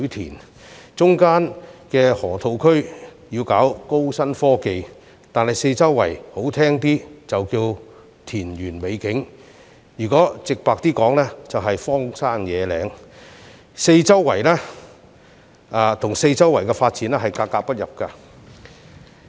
當局要在中間的河套區搞高新科技，但四周環境說得好聽一點是田園美景，直白而言卻是荒山野嶺，跟四周的發展格格不入。